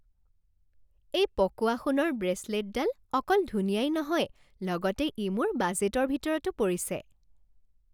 এই পকোৱা সোণৰ ব্ৰেচলেটডাল অকল ধুনীয়াই নহয় লগতে ই মোৰ বাজেটৰ ভিতৰতো পৰিছে।